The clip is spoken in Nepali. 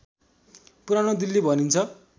पुरानो दिल्ली भनिन्छ